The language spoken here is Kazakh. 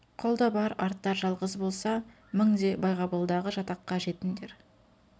қолда бар артар жалғыз болса мің де байғабылдағы жатаққа жетіндер